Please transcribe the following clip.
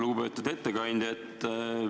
Lugupeetud ettekandja!